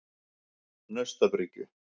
Naustabryggju